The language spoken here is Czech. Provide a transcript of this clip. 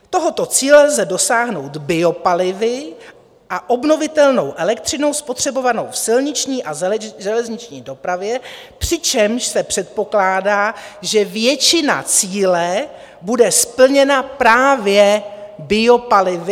Tohoto cíle lze dosáhnout biopalivy a obnovitelnou elektřinou spotřebovanou v silniční a železniční dopravě, přičemž se předpokládá, že většina cíle bude splněna právě biopalivy.